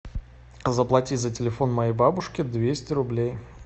заплати за телефон моей бабушки двести рублей